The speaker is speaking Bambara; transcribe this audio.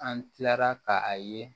An kilara ka a ye